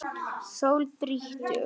Sól þrýtur.